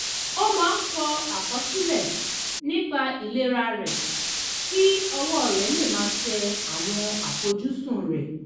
ó máa ń kọ àkọsílẹ̀ nípa ìlera rẹ̀ kí ọwọ́ rẹ̀ lè máa tẹ àwọn àfojúsùn rẹ̀